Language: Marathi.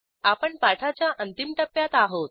आपण पाठाच्या अंतिम टप्प्यात आहोत